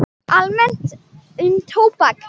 Almennt um tóbak